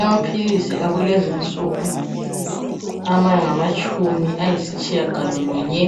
Amaphilisi akulezinsuku, angamatshumi ayisitshiya galolunye.